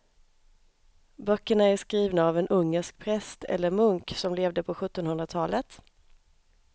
Böckerna är skrivna av en ungersk präst eller munk som levde på sjuttonhundratalet.